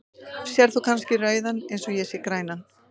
Sérð þú kannski rauðan eins og ég sé grænan?.